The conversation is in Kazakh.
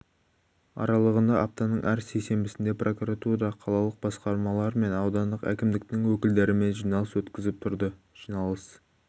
аралығында аптаның әр сейсенбісінде прокуратурада қалалық басқармалар мен аудандық әкімдіктің өкілдерімен жиналыс өткізіліп тұрды жиналыс